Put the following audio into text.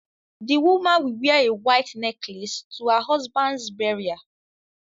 The woman will wear a white necklace to her husband's burial